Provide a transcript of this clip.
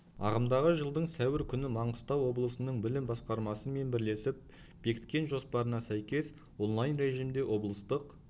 ағымдағы жылдың сәуір күні маңғыстау облысының білім басқармасы мен бірлесіп бекіткен жоспарына сәйкес онлайн режимде облыстық